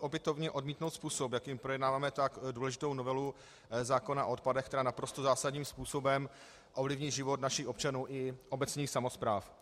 opětovně odmítnout způsob, jakým projednáváme tak důležitou novelu zákona o odpadech, která naprosto zásadním způsobem ovlivní život našich občanů i obecních samospráv.